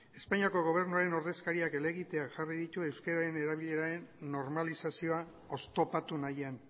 espainiako gobernuaren ordezkariak helegiteak jarri ditu euskararen erabileraren normalizazioa oztopatu nahian